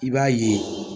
I b'a ye